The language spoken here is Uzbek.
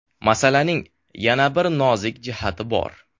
Masalaning yana bir nozik jihati bor.